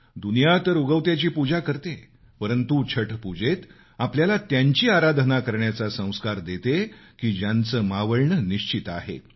दुनिया तर उगवत्याची पूजा करते परंतु छठपुजेत आपल्याला त्यांची आराधना करण्याचाही संस्कार देते की ज्यांचं मावळणं निश्चित आहे